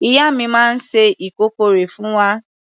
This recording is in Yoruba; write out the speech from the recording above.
Ìyá mi máa ń se ìkọ́kọrẹ́ fún wa.